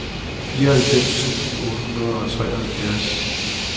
fireoghalvfems tusind otte hundrede og treoghalvfjerds